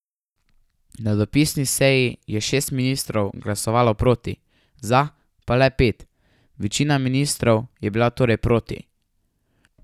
Na dopisni seji je šest ministrov glasovalo proti, za pa le pet, večina ministrov je bila torej proti.